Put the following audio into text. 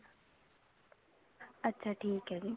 ਅੱਛਾ ਠੀਕ ਹੈ ਜੀ